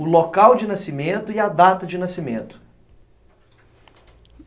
o local de nascimento e a data de nascimento.